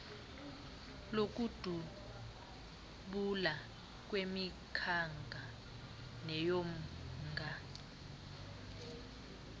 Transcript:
lokudubula kweyenkanga neyomnga